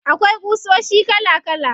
Akwai ƙusoshi kala kala.